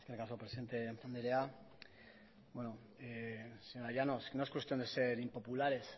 eskerrik asko presidente andrea bueno señora llanos no es cuestión de ser impopulares